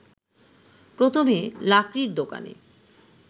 প্রথমে লাকড়ির দোকানে